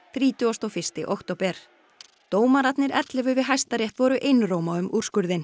þrítugasta og fyrsta október dómararnir ellefu við Hæstarétt voru einróma um úrskurðinn